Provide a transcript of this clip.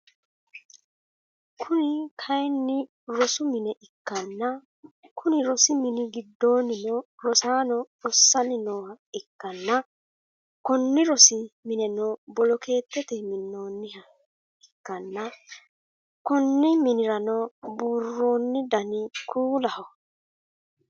Kuni kaayiini rosu mine ikkanna Konni rosi mini gidoonnino rosaano rossanni nooha ikkana Konni rosi mineno boloketete minooniha ikkanna Konni minirano buurooni Dani kuulaho